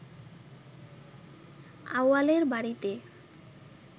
আউয়ালের বাড়িতে